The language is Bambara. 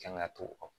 Kan ka to o